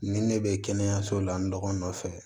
Ni ne bɛ kɛnɛyaso la n dɔgɔnin fɛ